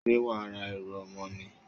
Ṣé wàá ra ẹrù ọmọ ni?